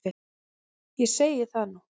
Ég segi það nú!